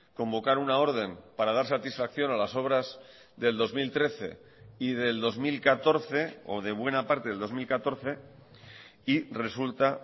convocar una orden para dar satisfacción a las obras del dos mil trece y del dos mil catorce o de buena parte del dos mil catorce y resulta